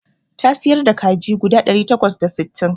Ta siyar da kaji guda ɗari takwas da sittin